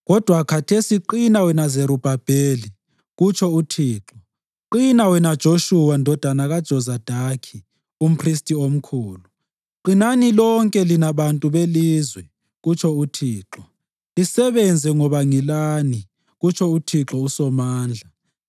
Kodwa khathesi qina wena Zerubhabheli,’ kutsho uThixo. ‘Qina wena Joshuwa ndodana kaJozadaki, umphristi omkhulu. Qinani, lonke lina bantu belizwe,’ kutsho uThixo. ‘Lisebenze, ngoba ngilani,’ kutsho uThixo uSomandla.